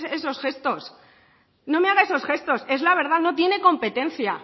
esos gestos no me haga esos gestos es la verdad no tiene competencia